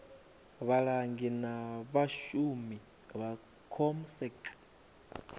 vhalangi na vhashumi vha comsec